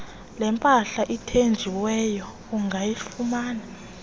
lempahla ethinjiweyo ungayifumana